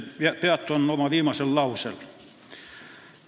Ma peatun ühel oma eelmisel lausel.